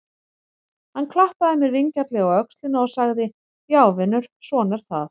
Hann klappaði mér vingjarnlega á öxlina og sagði: Já vinur, svona er það.